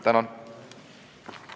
Tänan!